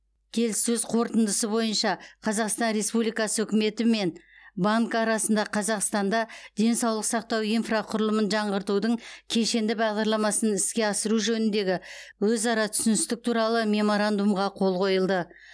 келіссөз қорытындысы бойынша қазақстан республикасы үкіметі мен банк арасында қазақстанда денсаулық сақтау инфрақұрылымын жаңғыртудың кешенді бағдарламасын іске асыру жөніндегі өзара түсіністік туралы меморандумға қол қойылды